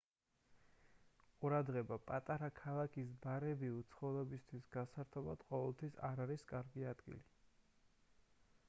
ყურადღება პატარა ქალაქის ბარები უცხოელებისთვის გასართობად ყოველთვის არ არის კარგი ადგილი